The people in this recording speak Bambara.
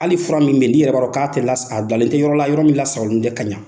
Hali ni fura min bɛ yen, n'i yɛrɛ b'a dɔn k'a tɛ lasa a bilalen tɛ dalentɛ yɔrɔ la yɔrɔ min la sagolen tɛ kaɲa